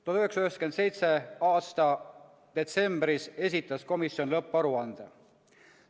1997. aasta detsembris esitas komisjon lõpparuande.